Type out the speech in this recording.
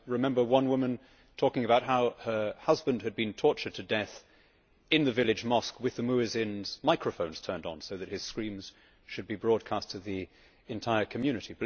I remember one woman talking about how her husband had been tortured to death in the village mosque with the muezzin's microphone turned on so that his screams would be broadcast to the entire community.